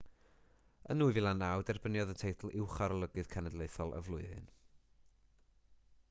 yn 2009 derbyniodd y teitl uwcharolygydd cenedlaethol y flwyddyn